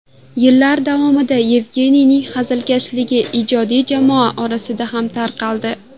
Yillar davomida Yevgeniyning hazilkashligi ijodiy jamoa orasida ham tarqaldi.